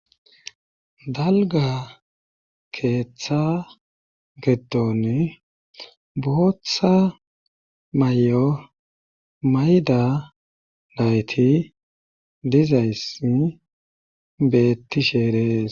Dalga keeththa geton bootha may'o mayda dayti dizaysi betti sheerees.